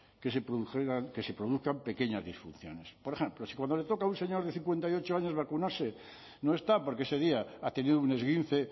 que se produjeran que se produzcan pequeñas disfunciones por ejemplo si cuando le toca a un señor de cincuenta y ocho años vacunarse no está porque ese día ha tenido un esguince